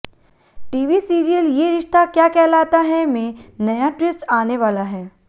TV serial Yeh Rishta Kya Kehlata Hai में नया twist आने वाला है